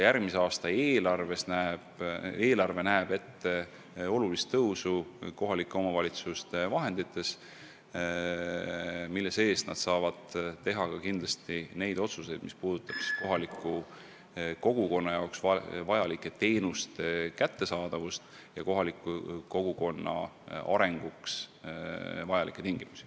Järgmise aasta eelarve näeb ette tuntavat kohalike omavalitsuste vahendite suurendamist ja nad saavad teha ka otsuseid, mis puudutavad kohalike inimeste jaoks vajalike teenuste kättesaadavust ja muid kogukonna arenguks vajalikke tingimusi.